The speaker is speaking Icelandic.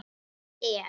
Þá er